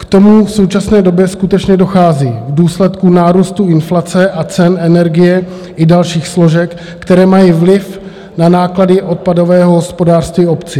K tomu v současné době skutečně dochází v důsledku nárůstu inflace a cen energie i dalších složek, které mají vliv na náklady odpadového hospodářství obcí.